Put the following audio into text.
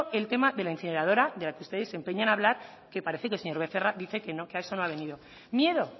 el tema de la incineradora de la que ustedes se empeñan en hablar que parece que el señor becerra dice que no que a eso no ha venido miedo